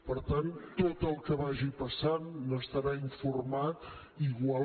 per tant tot el que vagi passant n’estarà informat igual